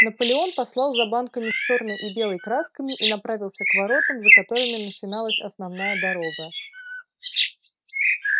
наполеон послал за банками с чёрной и белой красками и направился к воротам за которыми начиналась основная дорога